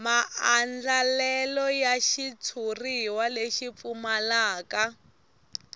maandlalelo ya xitshuriwa lexi pfumalaka